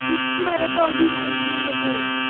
ସ୍ୱଛ ଭାରତ ଅଭିଯାନ ଗୋଟେ ହଉଛି।